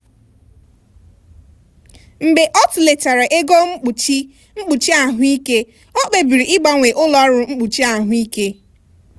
mgbe ọ tụlechara ego mkpuchi mkpuchi ahụike ya o kpebiri ịgbanwe ụlọ ọrụ mkpuchi ahụike.